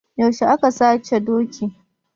Yaushe aka sace dokin?